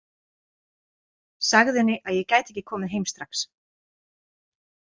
Sagði henni að ég gæti ekki komið heim strax.